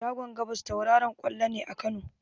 Shagon gabas tauraron ƙwallo ne a Kano.